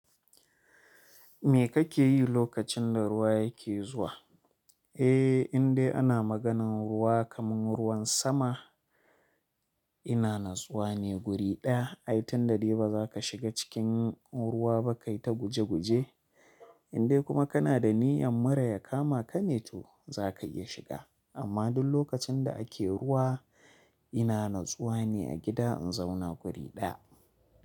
Me kake yi lokacin da ruwa yake zuwa? Eh, indai ana maganan ruwa kaman ruwan sama. Ina natsuwa ne guri ɗaya. Ai tun da dai ba za ka shiga cikin ruwa ba kai ta guje guje. Indai kuma kana da niyyar mura ya kama ka ne to za ka iya shiga. Amma duk lokacin da ake ruwa ina na tsuwa ne a gida in zauna guri ɗaya.